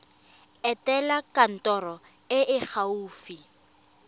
etela kantoro e e gaufi